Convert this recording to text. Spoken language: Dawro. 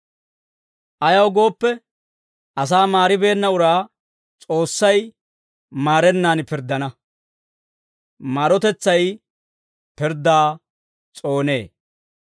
Ayaw gooppe, asaa maaribeenna uraa S'oossay maarennan pirddana; maarotetsay pirddaa s'oonee.